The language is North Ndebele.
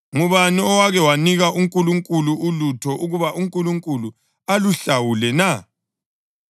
“Ngubani owake wanika uNkulunkulu ulutho ukuba uNkulunkulu aluhlawule na?” + 11.35 UJobe 41.11